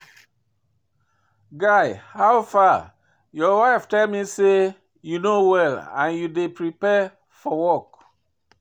Guy howfar? Your wife tell me say you no well and you dey prepare for work